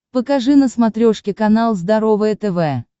покажи на смотрешке канал здоровое тв